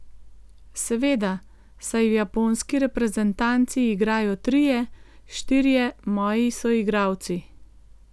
Seveda, saj v japonski reprezentanci igrajo trije, štirje moji soigralci.